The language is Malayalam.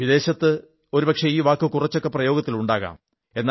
വിദേശത്ത് ഒരു പക്ഷേ ഈ വാക്ക് കുറച്ചൊക്കെ പ്രയോഗത്തിലുണ്ടാകാം